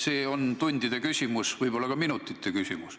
See on tundide küsimus, võib-olla ka minutite küsimus.